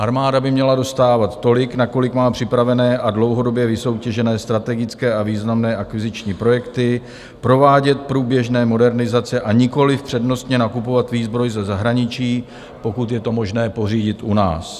Armáda by měla dostávat tolik, na kolik má připravené a dlouhodobě vysoutěžené strategické a významné akviziční projekty, provádět průběžné modernizace, a nikoliv přednostně nakupovat výzbroj ze zahraničí, pokud je to možné pořídit u nás.